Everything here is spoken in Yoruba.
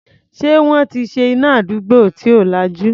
Ṣé wọ́n ti ṣe iná àdúgbò tí ò lajú?